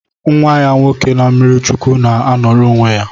Nwa ya nwoke na mmirichukwu na anoro onwe ya